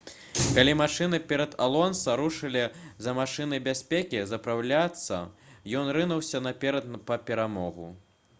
калі машыны перад алонса рушылі за машынай бяспекі запраўляцца ён рынуўся наперад па перамогу